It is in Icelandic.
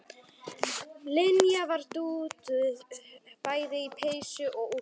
Linja var dúðuð bæði í peysu og úlpu.